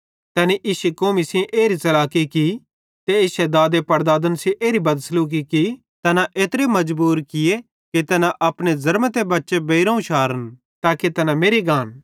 तैनी इश्शी कौमी सेइं एरी च़लाकी कि ते इश्शे दादनपड़दादन सेइं एरी बदसलूकी की तैना एत्रे मजबूर किये कि तैना अपने ज़र्मते बच्चे बेइरोवं शारन ताके तैना मेरि गान